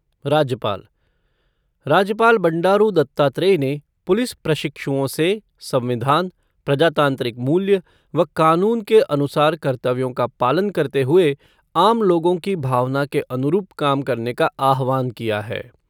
राज्यपाल बंडारू दत्तात्रेय ने पुलिस प्रशिक्षुओं से संविधान, प्रजातांत्रिक मूल्य व कानून के अनुसार कर्तव्यों का पालन करते हुए आम लोगों की भावना के अनुरूप काम करने का आह्वान किया है।